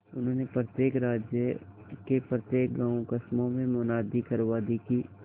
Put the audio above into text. उन्होंने प्रत्येक राज्य के प्रत्येक गांवकस्बों में मुनादी करवा दी कि